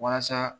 Walasa